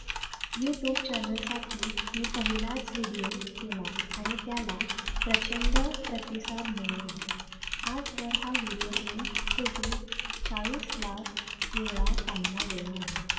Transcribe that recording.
youtube channel साठी मी पहिलाच video केला आणि त्याला प्रचंड प्रतिसाद मिळो आजवर हा video दोन कोटी चाळीस लाख वेळा पाहिला गेला आहे.